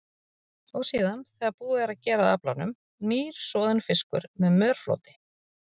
Og síðan, þegar búið er að gera að aflanum, nýr, soðinn fiskur með mörfloti.